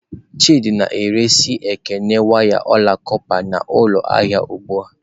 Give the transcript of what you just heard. Chidị na-ere si Ekene waya ọla kọpa n'ụlọ ahịa ugbu a.